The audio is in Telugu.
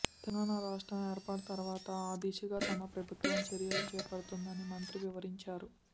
తెలంగాణ రాష్ట్రం ఏర్పాటు తర్వాత ఆదిశగా తమ ప్రభుత్వం చర్యలు చేపట్టిందని మంత్రి వివరించారు